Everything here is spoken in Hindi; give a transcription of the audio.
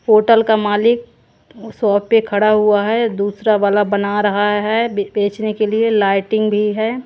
होटल का मालिक शॉप पे खड़ा हुआ है। दूसरा वाला बना रहा है बेचने के लिए लाइटिंग भी है।